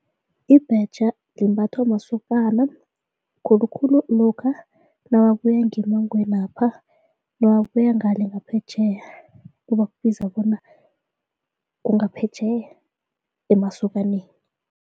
Ibhetjha limbathwa masokana khulukhulu lokha nababuya ngemangwenapha nababuya ngale ngaphetjheya kubakubiza bona kungaphetjheya emasokaneni.